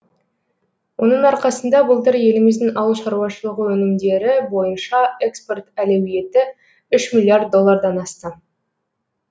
оның арқасында былтыр еліміздің ауыл шаруашылығы өнімдері бойынша экспорт әлеуеті үш миллиард доллардан асты